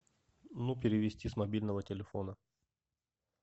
ну перевести с мобильного телефона